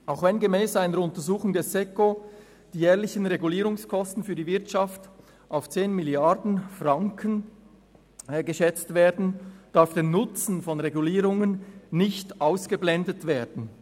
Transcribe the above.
Auch wenn gemäss einer Untersuchung des Staatssekretariats für Wirtschaft (Seco) die jährlichen Regulierungskosten für die Wirtschaft auf 10 Mrd. Franken geschätzt werden, darf der Nutzen von Regulierungen nicht ausgeblendet werden.